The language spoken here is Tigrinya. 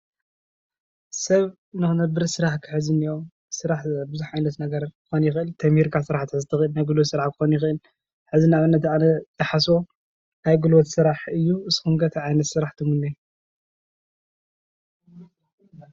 ሰብ ንኽነብር ስራሕ ክሕዝ እኒአዎ ስራሕ ብዙሕ ነገራት ክኾን ይኽእል። ተማሂርካ ስራሕ ክትሕዝ ትኽእል፣ ናይ ጉልበት ስራሕ ክኾን ይኸል፣ ሕዚ ንኣብነት ኣነ ዝሓስቦ ናይ ጉልበት ስራሕ እዩ፣ ንስኩም ከ እንታይ ዓትነት ስራሕ ትምነዩ?